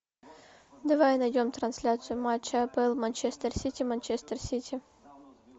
давай найдем трансляцию матча апл манчестер сити манчестер сити